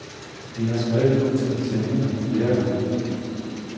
Vi har skrevet ud til centrene flere gange.